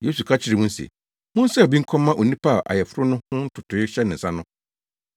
Yesu ka kyerɛɛ wɔn se, “Monsaw bi nkɔma onipa a ayeforo no ho ntotoe hyɛ ne nsa no.”